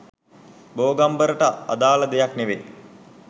බෝගම්බරට අදාල දෙයක් නෙවෙයි